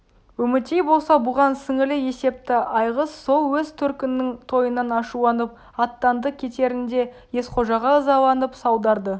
үмітей болса бұған сіңілі есепті айғыз сол өз төркінінің тойынан ашуланып аттанды кетерінде есқожаға ызаланып салдарды